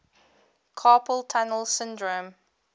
carpal tunnel syndrome